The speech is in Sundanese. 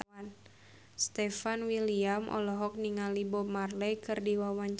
Stefan William olohok ningali Bob Marley keur diwawancara